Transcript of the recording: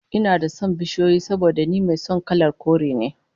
Ina da son bishiyoyi saboda ni mai son kalar kore ne